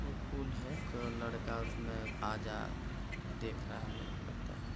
ये फूल है एक लड़का उसमें आजा देख रहा है मेरे को लगता है--